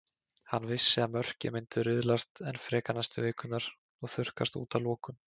Hann vissi að mörkin myndu riðlast enn frekar næstu vikurnar og þurrkast út að lokum.